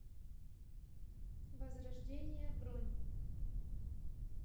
возрождение бронь